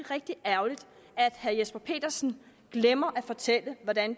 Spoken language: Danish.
rigtig ærgerligt at herre jesper petersen glemmer at fortælle hvordan